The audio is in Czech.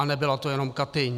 A nebyla to jen Katyň.